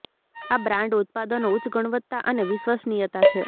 આ બ્રાન્ડ ઉત્પાદનો ઉચ્ચ ગુણવત્તા અને વિશ્વસનીયતા છે